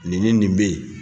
Nin ni nin bɛ yen